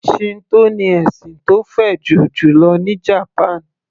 Shinto ní ẹ̀sìn tó fẹjú jùlọ ní japan